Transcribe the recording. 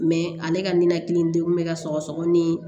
ale ka ninakiliden kun bɛ ka sɔgɔsɔgɔ ni